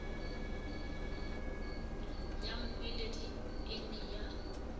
ya mmoledi e ne ya